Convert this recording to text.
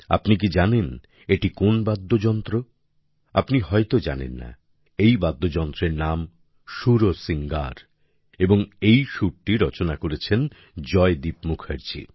আপনি কি জানেন এটি কোন বাদ্যযন্ত্র আপনি হয়তো জানেন না এই বাদ্যযন্ত্রের নাম সুরসিঙ্গার এবং এই সুরটি রচনা করেছেন জয়দীপ মুখার্জি